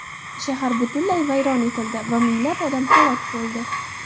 Shahar butunlay vayron etildi va minglab odam halok bo‘ldi.